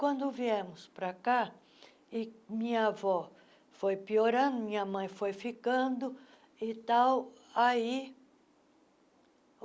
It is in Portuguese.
Quando viemos para cá, e minha avó foi piorando, minha mãe foi ficando. e tal aí